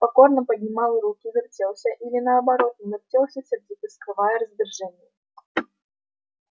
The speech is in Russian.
покорно поднимал руки вертелся или наоборот не вертелся сердито скрывая раздражение